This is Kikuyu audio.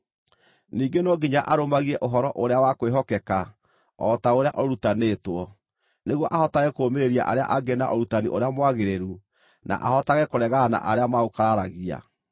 Ningĩ no nginya arũmagie ũhoro ũrĩa wa kwĩhokeka, o ta ũrĩa ũrutanĩtwo, nĩguo ahotage kũũmĩrĩria arĩa angĩ na ũrutani ũrĩa mwagĩrĩru, na ahotage kũregana na arĩa maũkararagia.